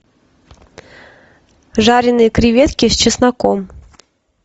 жареные креветки с чесноком